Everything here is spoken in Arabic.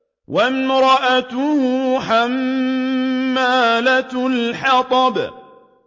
وَامْرَأَتُهُ حَمَّالَةَ الْحَطَبِ